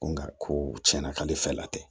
Nka ko tiɲɛna k'ale fɛ la tɛ